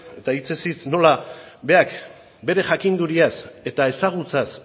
eta hitzez hitz nola berak bere jakinduriaz eta ezagutzaz